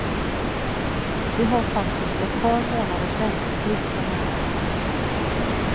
Vi har faktiskt ett par månaders väntetid för närvarande.